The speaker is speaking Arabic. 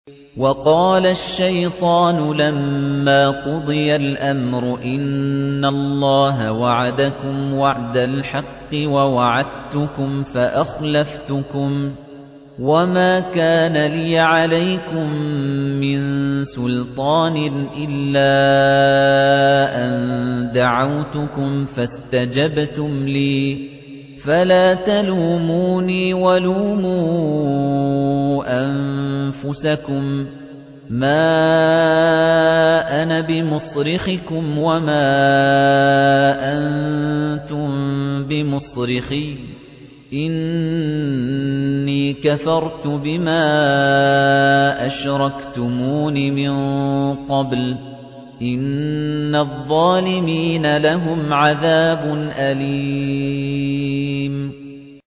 وَقَالَ الشَّيْطَانُ لَمَّا قُضِيَ الْأَمْرُ إِنَّ اللَّهَ وَعَدَكُمْ وَعْدَ الْحَقِّ وَوَعَدتُّكُمْ فَأَخْلَفْتُكُمْ ۖ وَمَا كَانَ لِيَ عَلَيْكُم مِّن سُلْطَانٍ إِلَّا أَن دَعَوْتُكُمْ فَاسْتَجَبْتُمْ لِي ۖ فَلَا تَلُومُونِي وَلُومُوا أَنفُسَكُم ۖ مَّا أَنَا بِمُصْرِخِكُمْ وَمَا أَنتُم بِمُصْرِخِيَّ ۖ إِنِّي كَفَرْتُ بِمَا أَشْرَكْتُمُونِ مِن قَبْلُ ۗ إِنَّ الظَّالِمِينَ لَهُمْ عَذَابٌ أَلِيمٌ